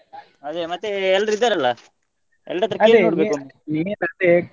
ಅದೇ ಮತ್ತೆ ಎಲ್ರೂ ಇದ್ದಾರಲ್ಲ? ಎಲ್ಲರ ಹತ್ರಾ .